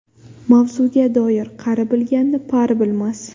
Mavzuga doir Qari bilganni pari bilmas.